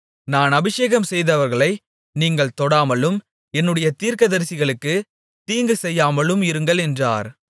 நான் அபிஷேகம்செய்தவர்களை நீங்கள் தொடாமலும் என்னுடைய தீர்க்கதரிசிகளுக்குத் தீங்கு செய்யாமலும் இருங்கள் என்றார்